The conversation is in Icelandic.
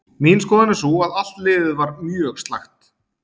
Mín skoðun er sú að allt liðið var mjög slakt.